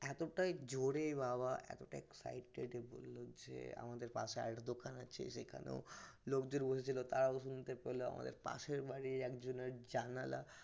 এতটাই জোরে বাবা এতটাই excited হয়ে বলল যে আমাদের পাশের চায়ের দোকান আছে সেখানেও লোকজন বসেছিল তারাও শুনতে পেল তারাও শুনতে পেল আমাদের পাশের বাড়ির একজনের জানালা